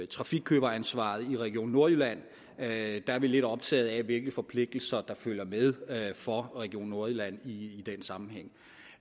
trafikkøberansvaret i region nordjylland er vi lidt optaget af hvilke forpligtelser der følger med for region nordjylland i den sammenhæng